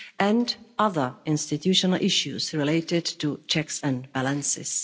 and other institutional issues related to checks and balances.